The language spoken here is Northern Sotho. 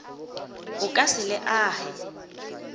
o ka se le age